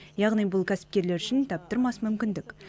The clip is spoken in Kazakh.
яғни бұл кәсіпкерлер үшін таптырмас мүмкіндік